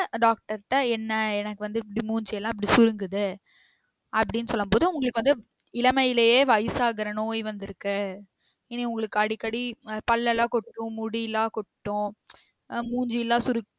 Doctor ட்ட என்ன எனக்கு வந்து இப்டி மூஞ்சியல்லாம் இப்டி சுருங்குது அப்டின்னு சொல்லும் போது உங்களுக்கு வந்து இளமைலையே வயசாகுற நோய் வந்திருக்கு இனி உங்களுக்கு அடிக்கடி அஹ் பல் எல்லாம் கொட்டும் முடிலாம் கொட்டும் ஆஹ் மூஞ்சிலாம் சுருக்கி